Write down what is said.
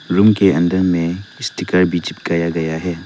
Room के अंदर में स्टीकर भी चिपकाया गया है।